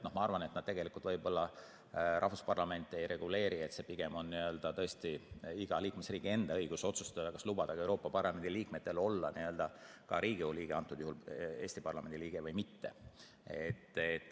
Ma arvan, et nad rahvusparlamente ei reguleeri ja pigem on igal liikmesriigil tõesti endal õigus otsustada, kas lubada ka Euroopa Parlamendi liikmetel olla ka parlamendi liige või mitte.